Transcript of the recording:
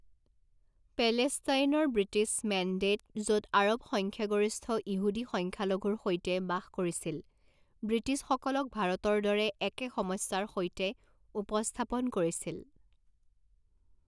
পেলেষ্টাইনৰ British mandate, য'ত আৰৱ সংখ্যাগৰিষ্ঠ ইহুদী সংখ্যালঘুৰ সৈতে বাস কৰিছিল, ব্ৰিটিছসকলক ভাৰতৰ দৰে একে সমস্যাৰ সৈতে উপস্থাপন কৰিছিল।